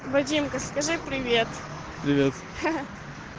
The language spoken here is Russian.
вадимка скажи привет привет ха ха